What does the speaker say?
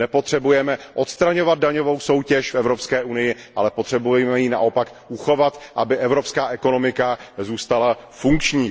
Nepotřebujeme odstraňovat daňovou soutěž v Evropské unii, ale potřebujeme ji naopak uchovat, aby evropská ekonomika zůstala funkční.